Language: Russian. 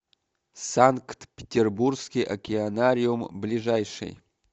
санкт петербургский океанариум ближайший